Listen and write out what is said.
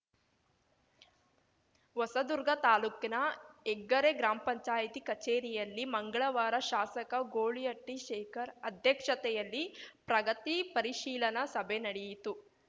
ಹೊಸದುರ್ಗ ತಾಲೂಕಿನ ಹೆಗ್ಗರೆ ಗ್ರಾಮ್ ಪಂಚಾಯ್ತಿ ಕಛೇರಿಯಲ್ಲಿ ಮಂಗಳವಾರ ಶಾಸಕ ಗೋಳೀಹಟ್ಟಿಶೇಖರ್‌ ಅಧ್ಯಕ್ಷತೆಯಲ್ಲಿ ಪ್ರಗತಿ ಪರಿಶೀಲನಾ ಸಭೆ ನಡೆಯಿತು